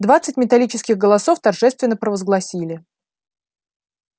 двадцать металлических голосов торжественно провозгласили